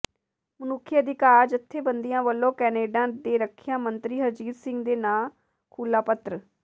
ਮਨੁੱਖੀ ਅਧਿਕਾਰ ਜਥੇਬੰਦੀਆਂ ਵਲੋਂ ਕੈਨੇਡਾ ਦੇ ਰੱਖਿਆ ਮੰਤਰੀ ਹਰਜੀਤ ਸਿੰਘ ਦੇ ਨਾਂ ਖੁੱਲ੍ਹਾ ਪੱਤਰ